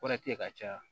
Kɔrɔti ye ka caya